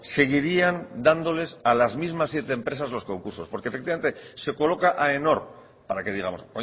seguirían dándoles a las mismas siete empresas los concursos porque efectivamente se coloca aenor para que digamos